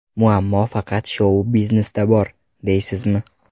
Muammo faqat shou-biznesda bor, deysizmi?